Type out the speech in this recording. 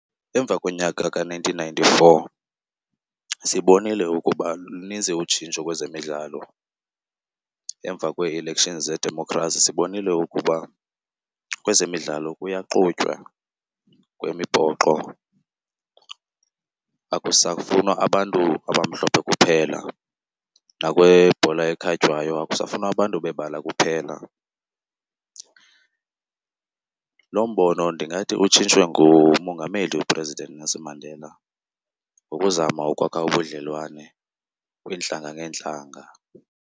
Emva konyaka ka-nineteen ninety-four sibonile ukuba lunintsi utshintsho kwezemidlalo. Emva kwee-elections zedemokhrasi sibonile ukuba kwezemidlalo kuyaxutywa, kwimibhoxo akusafunwa abantu abamhlophe kuphela. Nakwibhola ekhatywayo akusafunwa abantu bebala kuphela. Loo mbono ndingathi utshintshwe ngumongameli uPresident Nelson Mandela ngokuzama ukwakha ubudlelwane kwiintlanga ngeentlanga.